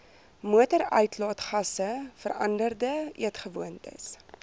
motoruitlaatgasse veranderde eetgewoontes